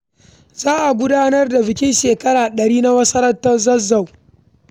Za a gudanar da bikin cika shekara ɗari na masarautar Zazzau.